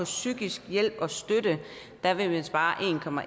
psykisk hjælp og støtte der vil man spare